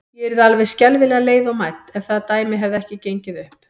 Ég yrði alveg skelfilega leið og mædd, ef það dæmi hefði ekki gengið upp.